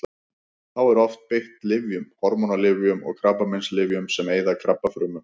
Þá er oft beitt lyfjum: hormónalyfjum og krabbameinslyfjum sem eyða krabbafrumum.